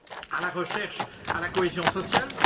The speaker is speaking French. à la recherche et à la cohésion sociale.